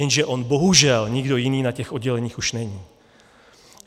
Jenže on bohužel nikdo jiný na těch odděleních už není.